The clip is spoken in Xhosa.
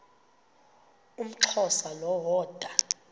umxhosa lo woda